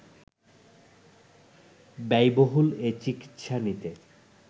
ব্যয়বহুল এ চিকিৎসা নিতে